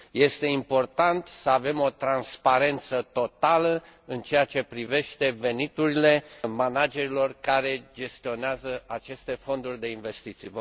Este important să avem o transparență totală în ceea ce privește veniturile managerilor care gestionează aceste fonduri de investiții.